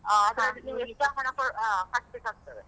ನಿಂಗೆ extra ಹಣ ಅ ಕಟ್ಬೇಕಾಗ್ತದೆ.